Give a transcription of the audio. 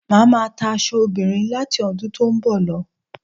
Màá máa ta aṣọ obìnrin láti ọdún tí ó ń bọ̀ lọ